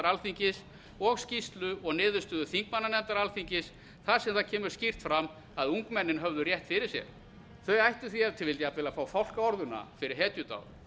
alþingis og skýrslu og niðurstöðu þingmannanefndar alþingis þar sem það kemur skýrt fram að ungmennin höfðu rétt fyrir sér þau ættu því ef til vill jafnvel að fá fálkaorðuna fyrir hetjudáð